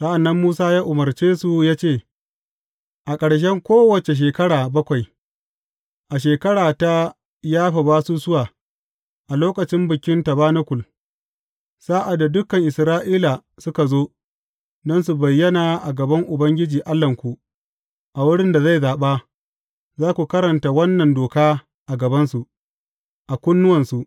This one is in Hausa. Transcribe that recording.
Sa’an nan Musa ya umarce su ya ce, A ƙarshen kowace shekara bakwai, a shekara ta yafe basusuwa, a lokacin Bikin Tabanakul, sa’ad da dukan Isra’ila suka zo, don su bayyana a gaban Ubangiji Allahnku, a wurin da zai zaɓa, za ku karanta wannan doka a gabansu, a kunnuwansu.